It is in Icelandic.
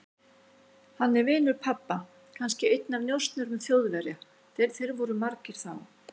Hann er vinur pabba, kannski einn af njósnurum Þjóðverja, þeir voru margir þá.